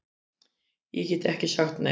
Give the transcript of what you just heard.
Ég gat ekki sagt nei.